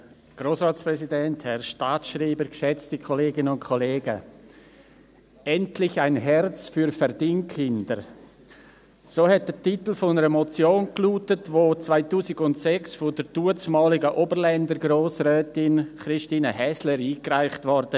Endlich ein Herz für Verdingkinder», so lautete der Titel einer Motion , die 2006 von der damaligen Oberländer Grossrätin Christine Häsler eingereicht wurde.